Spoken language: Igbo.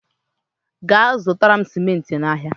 gaa zụtara m simenti n'ahịa!